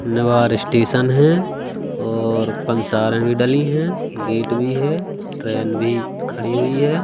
निवार station है और पंसार में भी डाली हैं गेट भी है ट्रेन भी खड़ी हुई है।